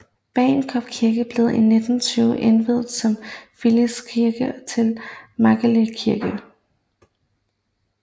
Bagenkop Kirke blev i 1920 indviet som filialkirke til Magleby Kirke